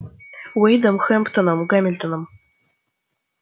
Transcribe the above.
уидом хэмптоном гамильтоном